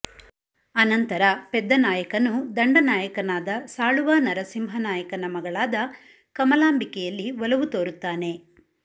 ಅನಂತರ ಪೆದ್ದನಾಯಕನು ದಂಡನಾಯಕನಾದ ಸಾಳುವ ನರಸಿಂಹ ನಾಯಕನ ಮಗಳಾದ ಕಮಲಾಂಬಿಕೆಯಲ್ಲಿ ಒಲವು ತೋರುತ್ತಾನೆ